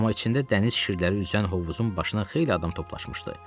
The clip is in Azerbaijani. Amma içində dəniz şirləri üzən hovuzun başına xeyli adam toplaşmışdı.